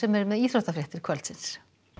er með íþróttafréttir kvöldsins